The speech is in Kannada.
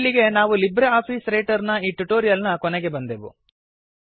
ಇಲ್ಲಿಗೆ ನಾವು ಲಿಬ್ರೆ ಆಫೀಸ್ ರೈಟರ್ ನ ಈ ಟ್ಯುಟೋರಿಯಲ್ ನ ಕೊನೆಗೆ ಬಂದೆವು